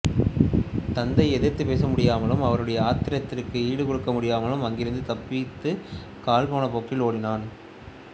தந்தையை எதிர்த்துப்பேச முடியாமலும் அவருடைய ஆத்திரத்திற்கு ஈடு கொடுக்க முடியாமலும் அங்கிருந்து தப்பித்துக் கால் போனபோக்கில் ஓடினான்